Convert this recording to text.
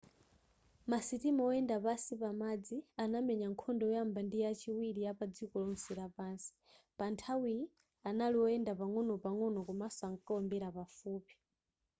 ma sitima oyenda pansi pamadzi anamenya nkhondo yoyamba ndi yachiwiri yapa dziko lonse lapansi panthawiyi anali oyenda pang'onopang'ono komanso ankaombera pafupi